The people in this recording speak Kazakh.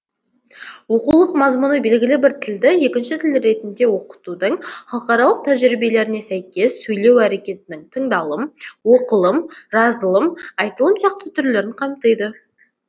оқулық мазмұны белгілі бір тілді екінші тіл ретінде оқытудың халықаралық тәжірибелеріне сәйкес сөйлеу әрекетінің тыңдалым оқылым жазылым айтылым сияқты түрлерін қамтиды